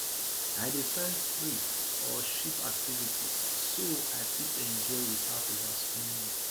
i dey find free or cheap activities so i fit enjoy without overspending